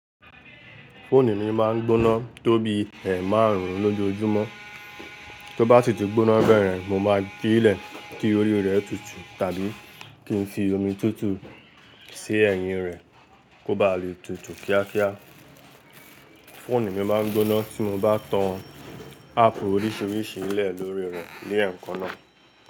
Fóònù mi máa ń gbóná tóbi ẹ̀emárùn-ún lójoojúmọ́, tó bá sì tí gbóná bẹ́yen, mo máa gbe e lẹ̀ kí orí rẹ̀ tutù tàbí kí n fi omi tútù sì ẹ̀yìn rẹ̀ kó ba lè tutù kíákíá. Fóònù mi máa ń gbóná tí mo bá tan áàpù oríṣiríṣi lẹ̀ lóri rẹ̀ léẹ̀kan náà.